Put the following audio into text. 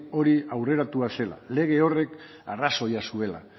hori aurreratua zela lege horrek arrazoia zuela